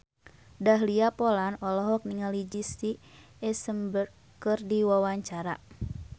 Dahlia Poland olohok ningali Jesse Eisenberg keur diwawancara